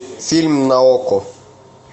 фильм на окко